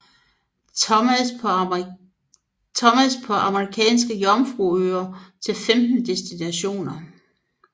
Thomas på Amerikanske Jomfruøer til 15 destinationer